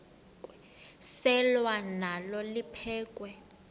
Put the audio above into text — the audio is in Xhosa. selwa nalo liphekhwe